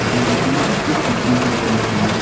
आणि नदी मधी खुप कचरा केलाय लोकांनी--